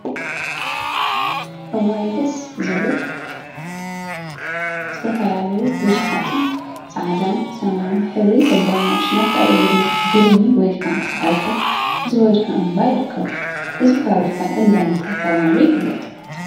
እዋይ ደስ ዝብል! ዝተፈላለዩን ቡዙሓትን ፃዕዳን ሰማያዊን ሕብሪ ዘለዎም ማሽናት አብ እግሪ ግድሚ ወይ ከዓ ሳዕሪታት ዝበዝሖ እምባ ይርከቡ፡፡ እዚ ፋብሪካ እንዳ እንታይ ተባሂሉ ይፍለጥ?